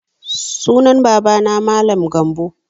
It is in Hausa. Sunan baba na Mallam Gambo